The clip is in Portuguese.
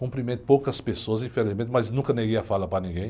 cumprimento poucas pessoas, infelizmente, mas nunca neguei a fala para ninguém.